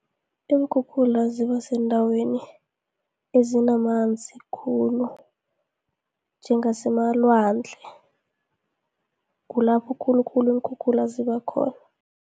Iinkhukhula zibasendaweni ezinamanzi khulu, njengasemalwandle, kulapho khulukhulu iinkhukhula ziba khona.